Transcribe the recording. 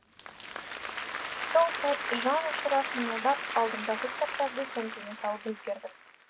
сол сәт жан ұшыра қимылдап алдымдағы кітаптарды сөмкеме салып үлгердім